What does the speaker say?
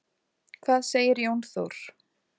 Hvað segir Jón Þór?